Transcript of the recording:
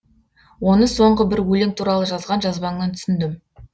оны соңғы бір өлең туралы жазған жазбаңнан түсіндім